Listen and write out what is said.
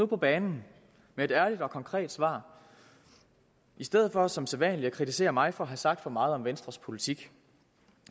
på banen med et ærligt og konkret svar i stedet for som sædvanlig at kritisere mig for have sagt for meget om venstres politik